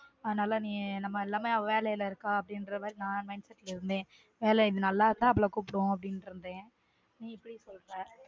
அதுனால நீ நம்ம எல்லாமே வேலைல இருக்கா அப்டிங்குற மாதிரி mind setting ல இருந்தன் வேல இது நல்லா இருந்தா அவள கூப்புடுவோம் அப்டிண்டு இருந்தன்